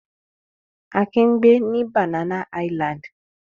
Akin ń gbẹ ní Banana Island.